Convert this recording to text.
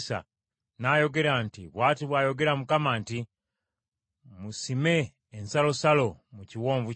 n’ayogera nti, “Bw’ati bw’ayogera Mukama nti, ‘Musime ensalosalo mu kiwonvu kino.’